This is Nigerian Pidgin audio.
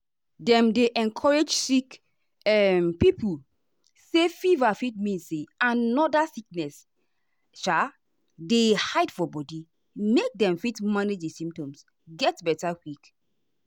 dem dey encourage sick um pipo say fever fit mean say another sickness um dey hide for body make dem fit manage di symptoms get beta quick.